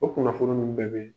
O kunnafoni nunun bɛɛ be yen.